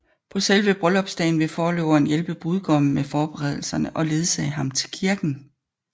På selve bryllupsdagen vil forloveren hjælpe brudgommen med forberedelserne og ledsage ham til kirken